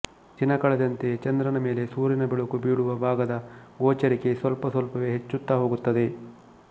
ದಿನ ಕಳೆದಂತೆ ಚಂದ್ರನ ಮೇಲೆ ಸೂರ್ಯನ ಬೆಳಕು ಬೀಳುವ ಭಾಗದ ಗೋಚರಿಕೆ ಸ್ವಲ್ಪ ಸ್ವಲ್ಪವೇ ಹೆಚ್ಚುತ್ತಾ ಹೋಗುತ್ತದೆ